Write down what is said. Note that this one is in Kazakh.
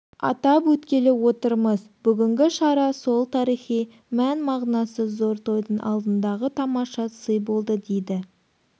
атап өткелі отырмыз бүгінгі шара сол тарихи мән-мағынасы зор тойдың алдындағы тамаша сый болды дейді